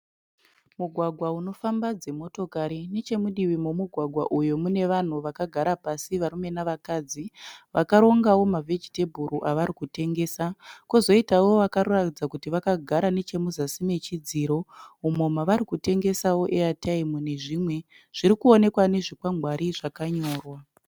Mugwagwa unofamba dzimotokari. Nechemudivi memugwagwa uyu mune vanhu vakagara pasi varume nevakadzi. Vakarongawo mavhejitebhuru avari kutengesa. Kozoitawo vakaratidza kuti vakagara muzasi mechidziro umo mavari kutengesawo eyataimu nezvimwe. Zvirikuonekwa nezvikwangwari zvakanyorwa.